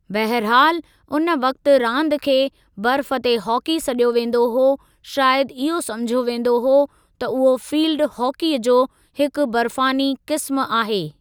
बहरहालु उन वक़्तु रांदि खे 'बर्फ़ ते हॉकी' सॾियो वेंदो हो शायदि इहो सम्झियो वेंदो हो त उहो फ़ील्ड हॉकीअ जो हिकु बर्फ़ानी क़िस्मु आहे।